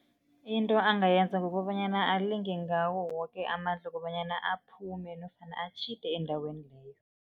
Into angayenza kukobanyana alinge ngawo woke amandla ukobanyana aphume nofana atjhide endaweni leyo.